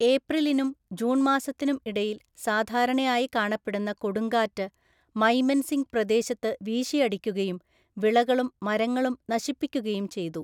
ഏപ്രിലിനും June മാസത്തിനും ഇടയിൽ സാധാരണയായി കാണപ്പെടുന്ന കൊടുങ്കാറ്റ് മൈമെൻസിംഗ് പ്രദേശത്ത് വീശിയടിക്കുകയും വിളകളും മരങ്ങളും നശിപ്പിക്കുകയും ചെയ്തു.